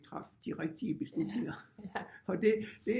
Traf de rigtige beslutninger og det det